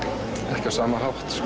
ekki á sama hátt